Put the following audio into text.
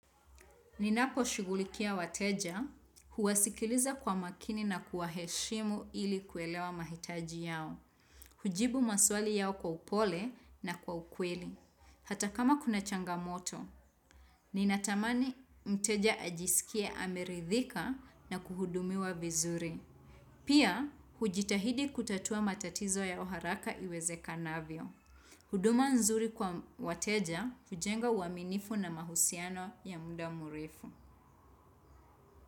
Ninapo shughulikia wateja, huwasikiliza kwa makini na kuwa heshimu ili kuelewa mahitaji yao. Hujibu maswali yao kwa upole na kwa ukweli. Hata kama kuna changamoto, ninatamani mteja ajisikie ameridhika na kuhudumiwa vizuri. Pia, hujitahidi kutatua matatizo yao haraka iweze kanavyo. Huduma nzuri kwa wateja, hujenga uaminifu na mahusiano ya muda mrefu.